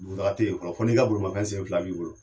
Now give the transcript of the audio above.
Dugutaga te yen fɔlɔ, fɔ n'i ka bolomanfɛn sen fila b'i bolo